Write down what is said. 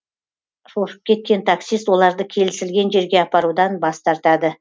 шошып кеткен таксист оларды келісілген жерге апарудан бас тартады